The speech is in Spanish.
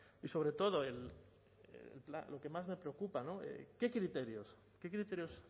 y sobre todo lo que más me preocupa qué criterios qué criterios